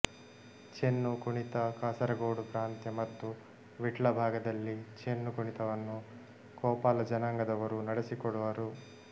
ಚೆನ್ನು ಕುಣಿತ ಕಾಸರಗೋಡು ಪ್ರಾಂತ್ಯ ಮತ್ತು ವಿಟ್ಲ ಭಾಗದಲ್ಲಿ ಚೆನ್ನು ಕುಣಿತವನ್ನು ಕೋಪಾಲ ಜನಾಂಗದವರು ನಡೆಸಿಕೊಡುವರು